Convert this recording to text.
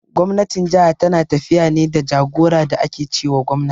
Gwamnatin jaha tana tafiya ne da jagora da ake ce wa gwamna.